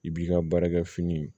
I b'i ka baarakɛ fini